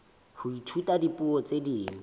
ho ithuta dipuo tse ding